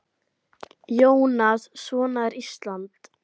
Jónas: Svona er Ísland?